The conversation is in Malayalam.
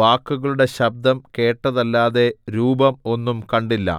വാക്കുകളുടെ ശബ്ദം കേട്ടതല്ലാതെ രൂപം ഒന്നും കണ്ടില്ല